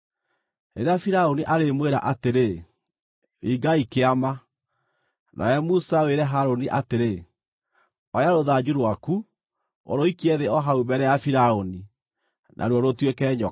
“Rĩrĩa Firaũni arĩmwĩra atĩrĩ, ‘Ringai kĩama,’ nawe Musa wĩre Harũni atĩrĩ, ‘Oya rũthanju rwaku, ũrũikie thĩ o hau mbere ya Firaũni,’ naruo rũtuĩke nyoka.”